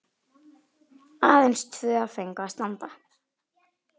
Aðeins tvö fengu að standa.